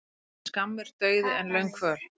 Betri er skammur dauði en löng kvöl.